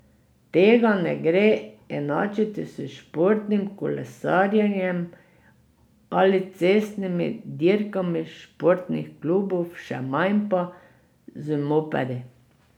Tega ne gre enačiti s športnim kolesarjenjem ali s cestnimi dirkami športnih klubov, še manj pa z mopedi.